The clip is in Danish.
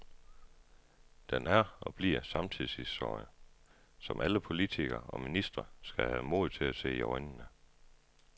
Den er og bliver samtidshistorie, som alle politikere og ministre skal have mod til at se i øjnene.